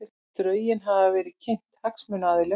Drögin hafa verið kynnt hagsmunaaðilum